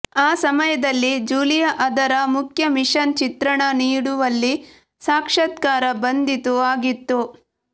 ಆ ಸಮಯದಲ್ಲಿ ಜೂಲಿಯಾ ಅದರ ಮುಖ್ಯ ಮಿಷನ್ ಚಿತ್ರಣ ನೀಡುವಲ್ಲಿ ಸಾಕ್ಷಾತ್ಕಾರ ಬಂದಿತು ಆಗಿತ್ತು